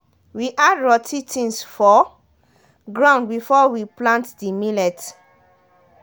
we add rotty things for ground before we plant dey millet.